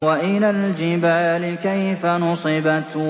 وَإِلَى الْجِبَالِ كَيْفَ نُصِبَتْ